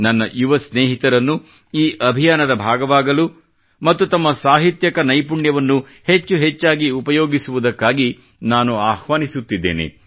ನನ್ನ ಯುವ ಸ್ನೇಹಿತರನ್ನು ಈ ಉಪಕ್ರಮದ ಭಾಗವಾಗಲು ಮತ್ತು ತಮ್ಮ ಸಾಹಿತ್ಯಕ ನೈಪುಣ್ಯವನ್ನು ಹೆಚ್ಚು ಹೆಚ್ಚಾಗಿ ಉಪಯೋಗಿಸುವುದಕ್ಕಾಗಿ ನಾನು ಆಹ್ವಾನಿಸುತ್ತಿದ್ದೇನೆ